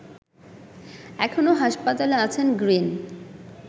এখনো হাসপাতালে আছেন গ্রিন